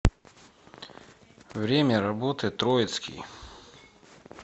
время работы троицкий